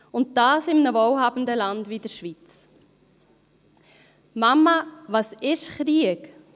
Und das in einem wohlhabenden Land wie der Schweiz. «Mama, was ist Krieg?